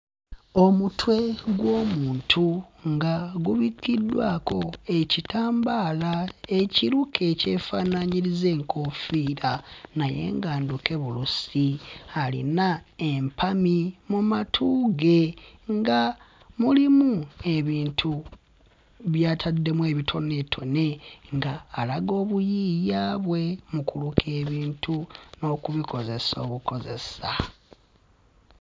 Omutwe gw'omuntu nga gubikiddwako ekitambaala ekiruke ekyafaananyiriza enkoofiira naye nga nduke bulusi alina empami mu matu ge nga mulimu ebintu by'ataddemu ebitoneetone nga alaga obuyiiya bwe mu kuluka ebintu n'okubikozesa obukozesa.